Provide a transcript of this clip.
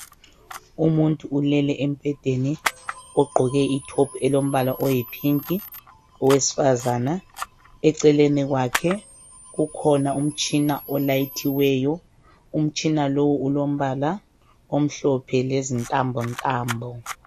Umuntu ulele embhedeni ogqoke itop elombala oyipink owesifazana eceleni kwakhe kukhona umtshina olayithiweyo umtshina lo ulombala omhlophe lezintambo ntambo.